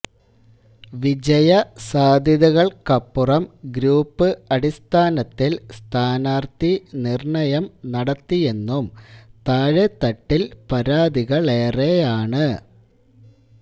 വിജയ സാധ്യതകള്ക്കപ്പുറം ഗ്രൂപ്പ് അടിസ്ഥാനത്തില് സ്ഥാനാർഥി നിര്ണയം നടത്തിയെന്നും താഴേത്തട്ടില് പരാതികളേറെയാണ്